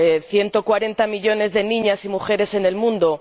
140 millones de niñas y mujeres en el mundo.